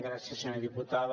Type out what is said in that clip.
gràcies senyora diputada